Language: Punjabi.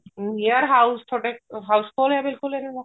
ਯਾਰ house ਥੋਡਾ house ਕੋਲ ਐ ਬਿਲਕੁਲ ਇਹ